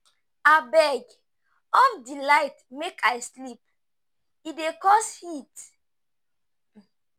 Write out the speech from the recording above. Abeg, off di light make I sleep. E dey cause heat.